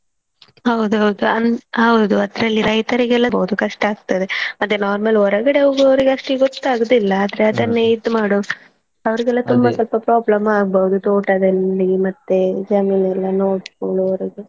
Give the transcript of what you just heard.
ಹೌದು ಹೌದು ಅನ್~ ಹೌದು ಅದ್ರಲ್ಲಿ ರೈತರಿಗ್ ಕಷ್ಟ ಆಗ್ತದೆ ಮತ್ತೇ normal ಹೊರಗಡೆ ಹೋಗುವವರಿಗೆ ಅಷ್ಟು ಗೊತ್ತಾಗುದಿಲ್ಲ ಆದ್ರೆ ಅದನ್ನೇ ಇದ್ ಮಾಡೋ ಅವರಿಗೆಲ್ಲ ತುಂಬ ಸ್ವಲ್ಪ problem ಸ್ವಲ್ಪ ಆಗ್ಬೋದು ತೋಟದಲ್ಲಿ ಮತ್ತೇ ಜಮೀನೆಲ್ಲಾ ನೋಡ್ಕೋಳೋರದ್ದು.